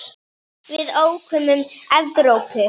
Við ókum um Evrópu.